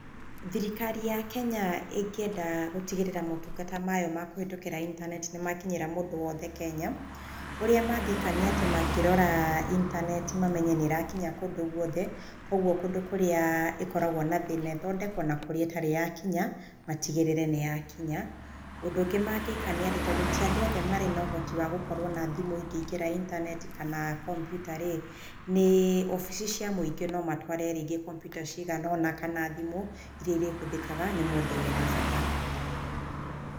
Thirikari ya Kenya ĩngĩenda gũtigĩrĩra motungata mayo ma kũhetũkĩra intaneti nĩ makinyĩra mũndũ wothe Kenya, ũrĩa mangĩka nĩ atĩ mangĩrora intaneti mamenye nĩ ĩrakinya kũndũ guothe. Kũguo kũndũ kũrĩa ĩkoragwo na thĩna ĩthondekwo na kũrĩa ĩtarĩ yakinya matigĩrĩre nĩ yakinya. Ũndũ ũngĩ mangĩka nĩ atĩ tondũ ti andũ othe marĩ na ũhoti wa gũkorwo na thimũ ingĩingĩra intaneti kana kompiuta rĩ nĩ obici cia mũingĩ no matware rĩngĩ kompiuta cigana ũna kana thimũ irĩa irĩhũthĩkaga nĩ mũndũ wĩna bata.